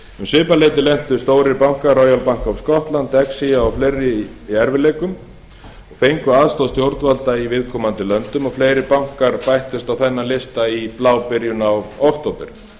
svipað leyti lentu stórir bankar royal bank of scotland dexia og fleiri í erfiðleikum og fengu aðstoð stjórnvalda í viðkomandi löndum og fleiri bankar bættust við þennan lista í byrjun í blábyrjun á október